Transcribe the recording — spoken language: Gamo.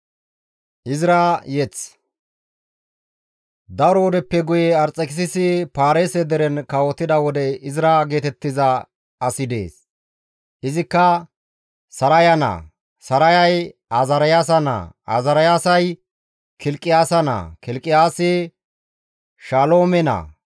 Daro wodeppe guye Arxekisisi Paarise deren kawotida wode Izra geetettiza asi dees; izikka, Saraya naa, Sarayay Azaariyaasa naa, Azaariyay Kilqiyaasa naa, Kilqiyaasi Shaloome naa,